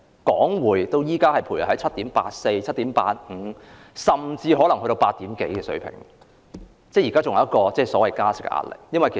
港匯現時徘徊在 7.84、7.85 甚至是8以上的水平，仍然承受加息的壓力。